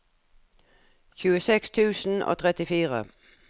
tjueseks tusen og trettifire